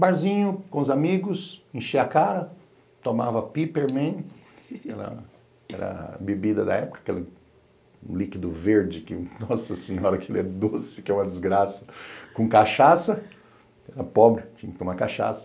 Barzinho com os amigos, enchi a cara, tomava Peppermint, era era a bebida da época, aquele líquido verde que, nossa senhora, aquilo é doce, que é uma desgraça, com cachaça, era pobre, tinha que tomar cachaça.